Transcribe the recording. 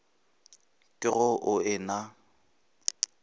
ke ge o e na